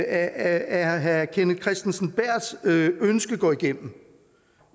at herre kenneth kristensen berths ønske går igennem